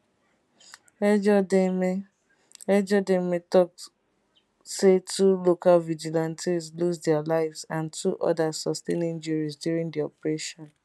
ejodame ejodame still tok say two local vigilantes lose dia lives and two odas sustain injuries during di operation